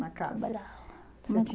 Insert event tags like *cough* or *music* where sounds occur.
na casa. *unintelligible*